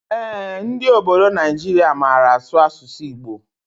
Ee, ndị ọbọdọ Naijiria màrà asụ asụsụ Igbo.